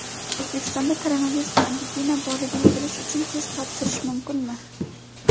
O‘zbekistonda koronavirusga antitana borligini bilish uchun test topshirish mumkinmi?.